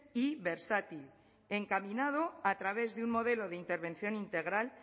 y versátil encaminado a través de un modelo de intervención integral